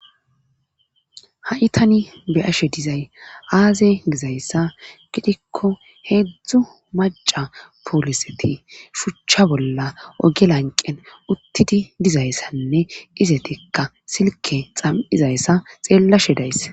Ha'itani be ashe dizay aaze gizayssa gidikko heedzdzu maca pooliseti shuchcha bolla oge lanqen uttidi dizayssanne izetikka silke xam'izayssa xeellashe days.